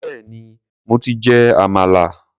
Béèni mo ti jẹ àmàlà.